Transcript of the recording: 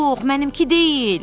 Yox, mənimki deyil.